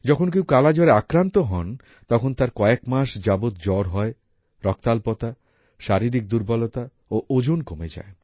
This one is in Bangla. যখন কেউ কালাজ্বরে আক্রান্ত হন তখন তার কয়েক মাস যাবত জ্বর হয় রক্তাল্পতা শারীরিক দুর্বলতা ও ওজন কমে যায়